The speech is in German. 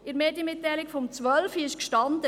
In der Medienmitteilung von 2012 stand: